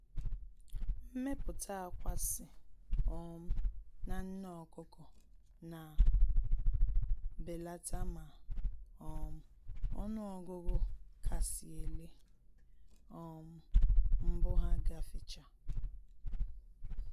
Mmepụta akwa si um na nne ọkụkọ na belata ma um ọnụ ọgụgụ kasị ele um mbụ ha gafchaa